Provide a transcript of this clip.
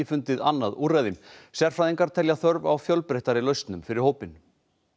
fundið annað úrræði sérfræðingar Barnaverndarstofa telja þörf á fjölbreyttari lausnum fyrir hópinn